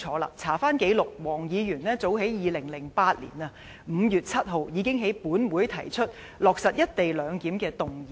翻查紀錄，黃議員早在2008年5月7日，已經在本會提出"落實一地兩檢"的議員議案。